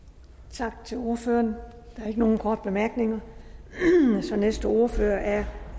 tak til ordføreren der er ikke nogen korte bemærkninger så næste ordfører er